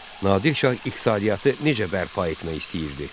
Nadir Şah iqtisadiyyatı necə bərpa etmək istəyirdi?